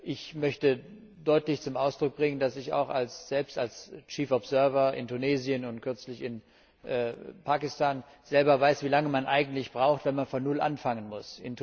Ich möchte deutlich zum Ausdruck bringen, dass ich selbst als Chief Observer in Tunesien und kürzlich in Pakistan weiß, wie lange man eigentlich braucht, wenn man von Null anfangen muss.